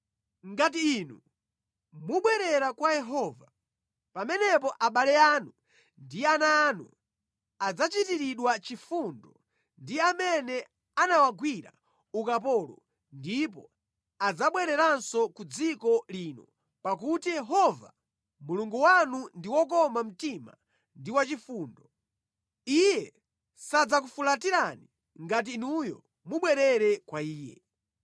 Ngati inu mubwerera kwa Yehova, pamenepo abale anu ndi ana anu adzachitiridwa chifundo ndi amene anawagwira ukapolo ndipo adzabwereranso ku dziko lino pakuti Yehova, Mulungu wanu ndi wokoma mtima ndi wachifundo. Iye sadzakufulatirani ngati inuyo mubwerera kwa Iye.”